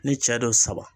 Ni cɛ don saba